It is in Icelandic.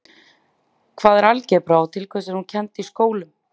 hvað er algebra og til hvers er hún kennd í skólum